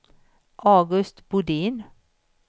August Bodin